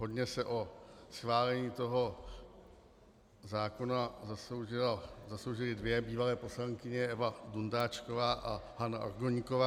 Hodně se o schválení toho zákona zasloužily dvě bývalé poslankyně, Eva Dundáčková a Hana Orgoníková.